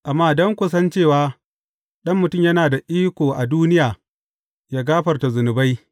Amma don ku san cewa, Ɗan Mutum yana da iko a duniya yă gafarta zunubai.